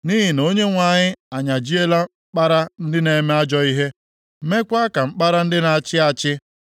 Nʼihi na Onyenwe anyị anyajiela mkpara ndị na-eme ajọ ihe, meekwa ka mkpara ndị na-achị achị,